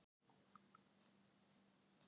Viðgerðum að ljúka